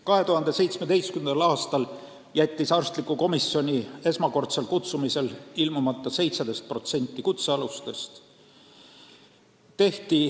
2017. aastal jättis arstlikku komisjoni esmakordse kutsumise järel ilmumata 17% kutsealustest.